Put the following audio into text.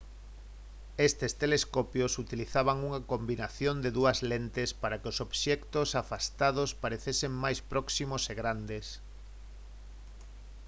estes telescopios utilizaban unha combinación de dúas lentes para que os obxectos afastados parecesen máis próximos e grandes